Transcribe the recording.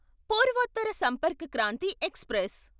Purvottar Sampark Kranti express